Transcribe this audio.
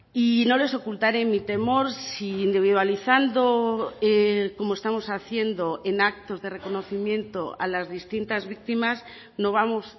y no les ocultaré mi temor si individualizando como estamos haciendo en actos de reconocimiento a las distintas víctimas no vamos